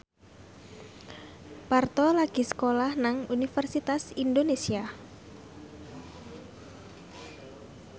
Parto lagi sekolah nang Universitas Indonesia